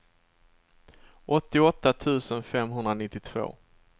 åttioåtta tusen femhundranittiotvå